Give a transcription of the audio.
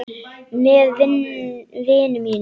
Með vinum mínum.